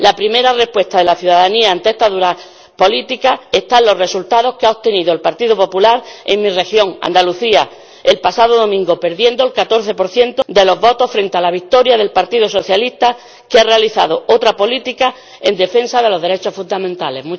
La primera respuesta de la ciudadanía ante estas duras políticas está en los resultados que ha obtenido el Partido Popular en mi región, Andalucía, el pasado domingo, perdiendo el 14 de los votos, frente a la victoria del Partido Socialista, que ha realizado otra política en defensa de los derechos fundamentales.